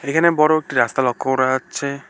এখানে বড় একটি রাস্তা লক্ষ করা যাচ্ছে।